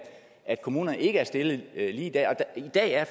at kommunerne ikke er stillet lige der og i dag er